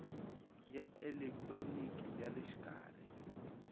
ya elekitroniki ya le xikarhi